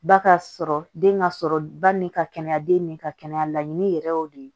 Ba ka sɔrɔ den ka sɔrɔ ba ni ka kɛnɛya den ni ka kɛnɛya laɲini yɛrɛ y'o de ye